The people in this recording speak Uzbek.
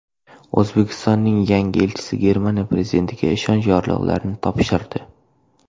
O‘zbekistonning yangi elchisi Germaniya prezidentiga ishonch yorliqlarini topshirdi.